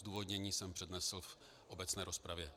Zdůvodnění jsem přednesl v obecné rozpravě.